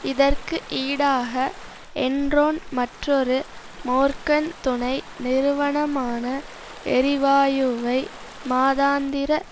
இதற்கு ஈடாக என்ரோன் மற்றொரு மோர்கன் துணை நிறுவனமான எரிவாயுவை மாதாந்திர